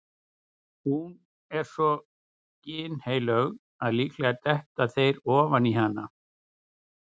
Hún er svo ginnheilög að líklega detta þeir ofan í hana.